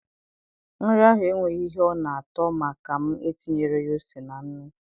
Nri ahụ enweghị ihe ọ na-ato maka m etinyeghi ose na nnu